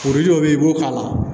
dɔ bɛ yen i b'o k'a la